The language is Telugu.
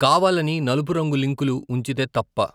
కావాలని నలుపు రంగు లింకులు ఉంచితే తప్ప. ?